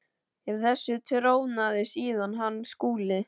Yfir þessu trónaði síðan hann Skúli.